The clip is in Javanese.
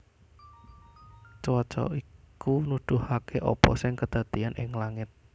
Cuaca iku nuduhaké apa sing kedadéyan ing langit